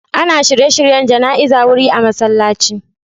Ana shirye-shiryen jana'izar wuri a musulunci.